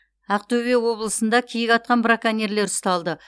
ақтөбе облысында киік атқан браконьерлер ұсталды